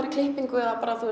í klippingu